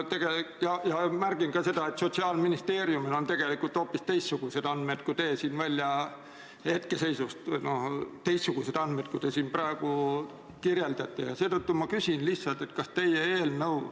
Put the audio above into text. Ma märgin ka seda, et Sotsiaalministeeriumil on tegelikult hoopis teistsugused andmed, kui teie siin hetkeseisu kirjeldades pakkusite.